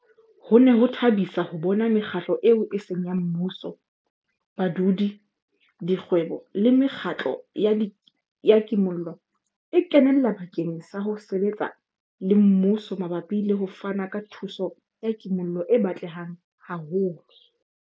Ho ne ho thabisa ho bona mekgatlo eo e seng ya mmuso, badudi, dikgwebo le mekgatlo ya kimollo e kenella bakeng sa ho sebetsa le mmuso mabapi le ho fana ka thuso ya kimollo e batlehang haholo.